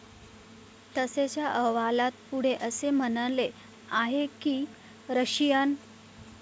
तसेच या अहवालात पुढे असे म्हणले आहे की, रशियन